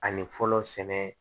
Ani fɔlɔ sɛnɛ